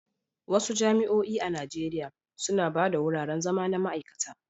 Wasu jami'o'i a Najeriya suna ba da wuraren zama na ma'aikata.